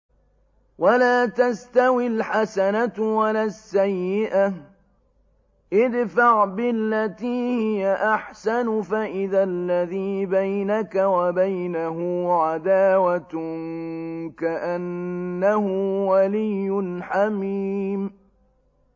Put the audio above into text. وَلَا تَسْتَوِي الْحَسَنَةُ وَلَا السَّيِّئَةُ ۚ ادْفَعْ بِالَّتِي هِيَ أَحْسَنُ فَإِذَا الَّذِي بَيْنَكَ وَبَيْنَهُ عَدَاوَةٌ كَأَنَّهُ وَلِيٌّ حَمِيمٌ